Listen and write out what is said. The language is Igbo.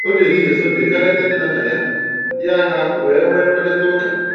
O ji ehihie Sọnde gaa leta nne na nna ya, ya, ha wee nwee mkparịta ụka